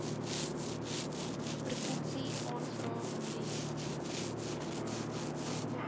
provinsie aanvra indien